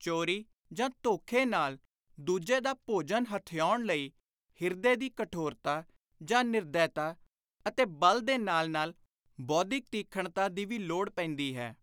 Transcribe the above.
ਚੋਰੀ ਜਾਂ ਧੋਖੇ ਨਾਲ ਦੁਜੇ ਦਾ ਭੋਜਨ ਹਥਿਆਉਣ ਲਈ ਹਿਰਦੇ ਦੀ ਕਠੋਰਤਾ ਜਾਂ ਨਿਰਦੈਤਾ ਅਤੇ ਬਲ ਦੇ ਨਾਲ ਨਾਲ ਬੌਧਿਕ ਤੀਖਣਤਾ ਦੀ ਵੀ ਲੋੜ ਪੈਂਦੀ ਹੈ।